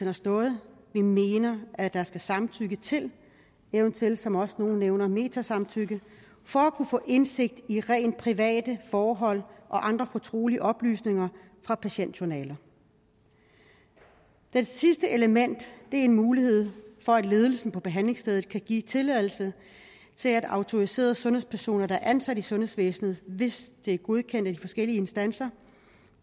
har stået vi mener at der skal samtykke til eventuelt som nogle også nævner metasamtykke for at kunne få indsigt i rent private forhold og andre fortrolige oplysninger fra patientjournaler det sidste element er en mulighed for at ledelsen på behandlingssteder kan give tilladelse til at autoriserede sundhedspersoner der er ansat i sundhedsvæsenet hvis det er godkendt af de forskellige instanser